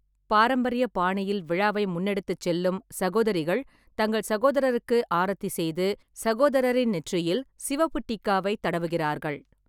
பாரம்பரிய பாணியில் விழாவை முன்னெடுத்துச் செல்லும், சகோதரிகள் தங்கள் சகோதரருக்கு ஆரத்தி செய்து, சகோதரரின் நெற்றியில் சிவப்பு டிக்காவை தடவுகிறார்கள்.